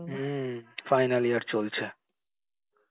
হম final year চলছে